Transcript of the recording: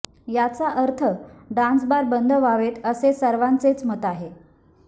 याचा अर्थ डान्सबार बंद व्हावेत असे सर्वांचेच मत आहे